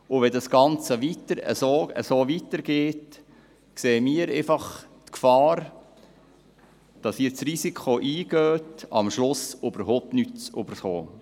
Wenn das Ganze so weitergeht, sehen wir die Gefahr, dass Sie das Risiko eingehen, am Schluss überhaupt nichts zu erhalten.